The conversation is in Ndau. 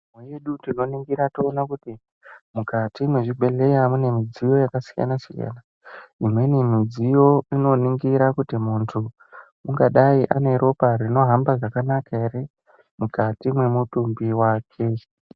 ....yedu tinoningira toona kuti mukati mwezvibhehleya mune midziyo yakasiyana-siyana. Imweni midziyo inoningira kuti muntu ungadai aneropa rinohamba zvakanaka here mukati mwemutumbi wake.